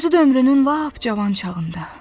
Özü də ömrünün lap cavan çağında.